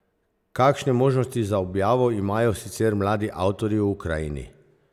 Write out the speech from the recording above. Kakšne možnosti za objavo imajo sicer mladi avtorji v Ukrajini?